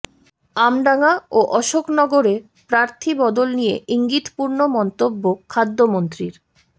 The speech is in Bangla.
আমডাঙা ও অশোকনগরে প্রার্থী বদল নিয়ে ইঙ্গিতপূর্ণ মন্তব্য খাদ্যমন্ত্রীর